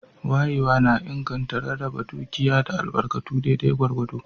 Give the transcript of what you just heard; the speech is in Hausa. Wayewa na inganta rarraba dukiya da albarkatu daidai gwargwado.